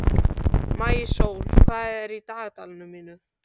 Maísól, hvað er í dagatalinu mínu í dag?